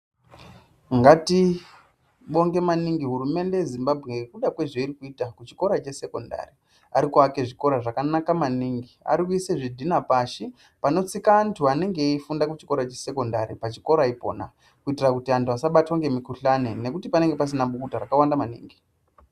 Ndatibonge maningi hurumende yeZimbabwe ngekuda kwezveiri kuita kuchikora chesekondari. Ari kuaka zvikora zvakanaka maningi. Arikuisa zvidina pasi panofunda vantu vanenge vari vesekondari pachikora ipona kuti vantu vasabatwe nemikhuhlane ngekuti panenge pasina bukuta rakawanda maningi.